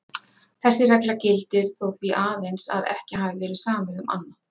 Þessi regla gildir þó því aðeins að ekki hafi verið samið um annað.